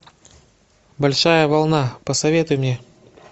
большая волна посоветуй мне